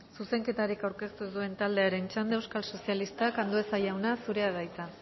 zuzenketarik aurkeztu ez duen taldearen txanda euskal sozialistak andueza jauna zurea da hitza